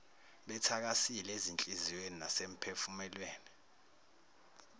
bethakasile ezinhliziyweni nasemiphefumulweni